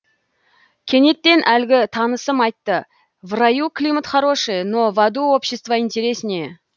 кенеттен әлгі танысым айтты в раю климат хороший но в аду общество интереснее